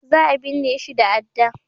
Za a binne shi da adda